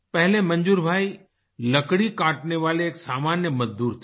पहले मंजूर भाई लकड़ी काटने वाले एक सामान्य मजदूर थे